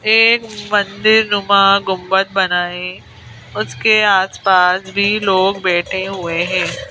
एक मंदिर नुमा गुम्बद बना है उसके आसपास भी लोग बैठे हुए हैं।